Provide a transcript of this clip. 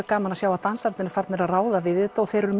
gaman að sjá að dansararnir eru farnir að ráða við þetta og þeir eru